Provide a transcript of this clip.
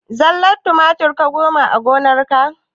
Zallar tumatir ka noma a gonarka?